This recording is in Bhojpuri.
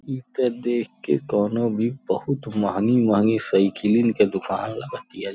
ईत देख के कोनो भी बहोत महंगी-महंगी सईकिलीन के दुकान लागत हिया।